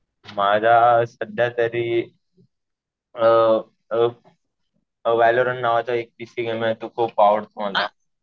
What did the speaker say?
माझा सध्या तरी अ वेलोरन नावाचा एक पीसी गेम आहे. तो खूप आवडतो मला.